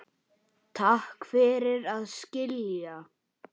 Takk fyrir að skilja.